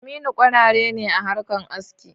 Aminu kwarare ne a harkan aski.